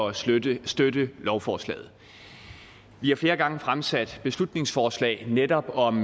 at støtte støtte lovforslaget vi har flere gange fremsat beslutningsforslag netop om